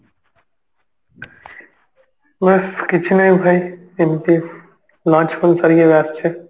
ବାସ୍ କିଛି ନାହିଁ ଭାଇ ଏମତି lunch ଫଞ୍ଚ ସାରିକି ଏବେ ଆସୁଛି